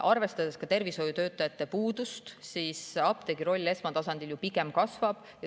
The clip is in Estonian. Arvestades ka tervishoiutöötajate puudust, apteegi roll esmatasandil ju pigem kasvab.